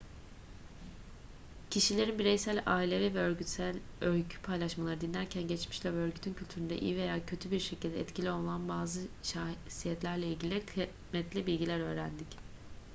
kişilerin bireysel ailevi ve örgütsel öykü paylaşmalarını dinlerken geçmişle ve örgütün kültüründe iyi veya kötü bir şekilde etkili olan bazı şahsiyetlerle ilgili kıymetli bilgiler öğrendik